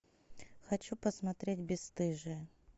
хочу посмотреть бесстыжие